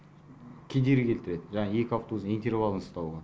кедергі келтіреді жаңағы екі автобустың интервалын ұстауға